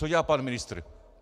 Co dělá pan ministr?